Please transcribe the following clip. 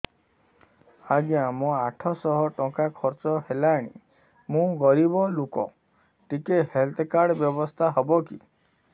ଆଜ୍ଞା ମୋ ଆଠ ସହ ଟଙ୍କା ଖର୍ଚ୍ଚ ହେଲାଣି ମୁଁ ଗରିବ ଲୁକ ଟିକେ ହେଲ୍ଥ କାର୍ଡ ବ୍ୟବସ୍ଥା ହବ କି